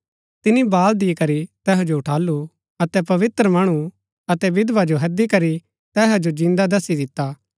तिनी बाल दिकरी तैहा जो उठालु अतै पवित्र मणु अतै विधवा जो हैदी करी तैहा जो जिन्दा दसी दिता